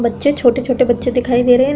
बच्चे छोटे छोटे बच्चे दिखाई दे रहे हैं।